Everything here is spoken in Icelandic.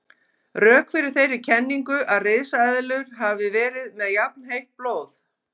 Rök fyrir þeirri kenningu að risaeðlur hafi verið með jafnheitt blóð.